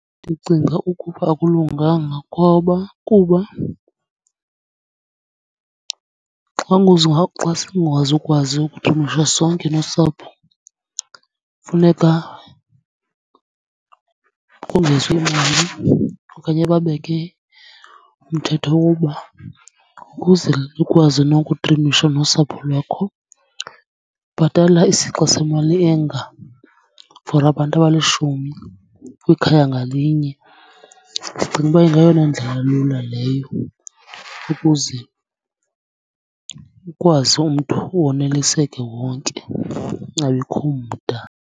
Ndicinga ukuba akulunganga ngoba, kuba xa singazukwazi sonke nosapho funeka kongezwe imali okanye babeke umthetho woba ukuze likwazi nokutrimisha nosapho lwakho bhatala isixa semali enga for abantu abalishumi kwikhaya ngalinye. Ndicinga uba ingayona ndlela lula leyo, ukuze ukwazi umntu woneliseke wonke kungabikho mda.